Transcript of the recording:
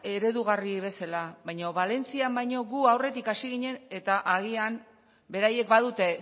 eredugarri bezala baino valentzian baino gu aurretik hasi ginen eta agian beraiek badute